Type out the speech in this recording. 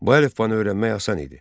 Bu əlifbanı öyrənmək asan idi.